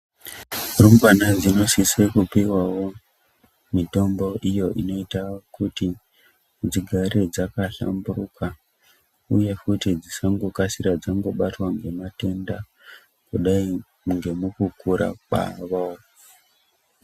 Rumbwana dzinosisa kupuwawo mitombo iyo inoita kuti dzigare dzakahlamburuka uye futi dzisagara dzakabatwa ngematenda kudai nekukura kwawo.